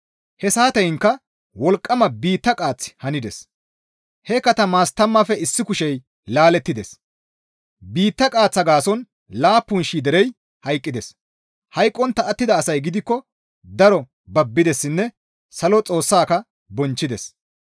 He saateyinka wolqqama biitta qaaththi handes; he katamaas tammaafe issi kushey laalettides; biitta qaaththaa gaason laappun shii derey hayqqides; hayqqontta attida asay gidikko daro babbidessinne salo Xoossaaka bonchchides.